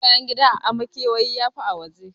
Yin bayan gida a makewayi yafi yi a waje.